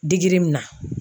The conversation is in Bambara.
min na.